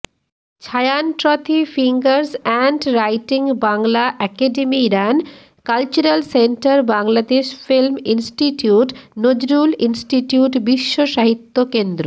ছায়ানটথ্রি fingers hand রাইটিংবাংলা একাডেমীইরান cultural সেন্টারবাংলাদেশ film ইনষ্টিটিউটনজরুল ইনস্টিটিউটবিশ্বসাহিত্য কেন্দ্র